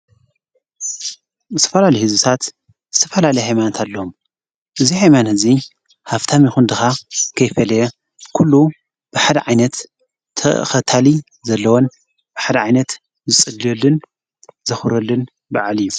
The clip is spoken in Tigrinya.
ምስ ፈላል ሕዝሳት ዝተፈላል ኃይማንንት ኣለም እዙይ ሕይማን ሕዚይ ሃብታ መይኹን ድኻ ከይፈልየ ኲሉ ብሓደዓይነት ተኸታሊ ዘለወን ብሓደ ዓይነት ዝጽልዮልን ዘኽረልን በዓል እዩ።